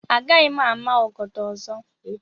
Agaghị m ama ọgọdọ ọzọ.